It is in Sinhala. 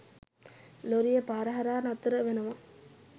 ලොරිය පාර හරහා නතර වෙනවා.